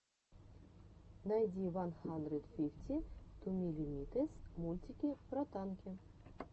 найди ван хандрэд фифти ту миллимитэс мультики про танки